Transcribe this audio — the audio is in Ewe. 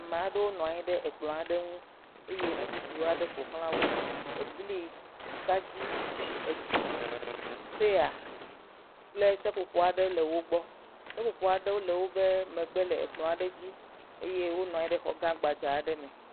ma'ɖewo nɔanyi ɖe ekplɔ̃ aɖe ŋu eye ŋuɖuɖu aɖe ƒoxlã wó ebli atadi etsi pɛya kple seƒoƒo aɖe le wógbɔ seƒoƒo aɖewo le wóƒɛ megbe le ekplɔ aɖe dzi eye wó nɔnyi ɖe xɔ gã gbadza'ɖe me